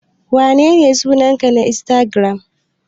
Menene sunanka na insatigiram?